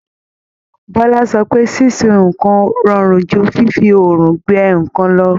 Bola sọ pé sísun nǹkan rọrùn ju fífi oòrùn gbẹ nǹkan lọ.